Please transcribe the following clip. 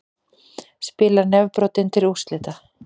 Spilar nefbrotinn til úrslita